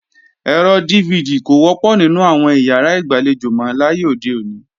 Ẹ̀rọ DVD kò wọ́pọ̀ nínú àwọn ìyàrá ìgbàlejò mọ láyé òde òní